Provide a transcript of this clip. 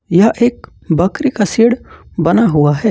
यह एक बकरी का शेड बना हुआ है।